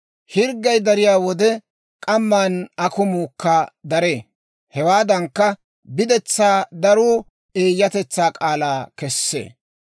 Hirggay dariyaa wode, k'amman akumuukka daree; hewaadankka, biddetsaa daruu eeyyatetsaa k'aalaa kessee.